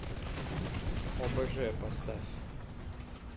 обж поставь